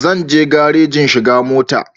Zan je garaji in shiga mota